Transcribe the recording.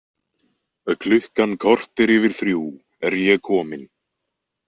Klukkan korter yfir þrjú er ég komin.